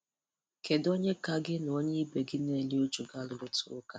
Kedu onye ka gị na onye ibe gị na-eru uju ga-arụrịta ụka?